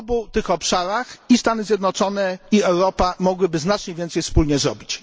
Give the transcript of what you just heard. W obu tych obszarach i Stany Zjednoczone i Europa mogłyby znacznie więcej wspólnie zrobić.